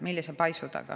Millise paisu taga?